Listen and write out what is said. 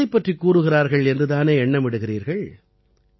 எதைப் பற்றிக் கூறுகிறார்கள் என்று தானே எண்ணமிடுகிறீர்கள்